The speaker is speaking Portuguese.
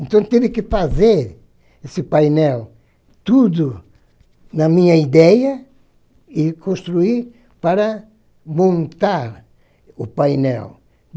Então, tive que fazer esse painel, tudo na minha ideia, e construir para montar o painel.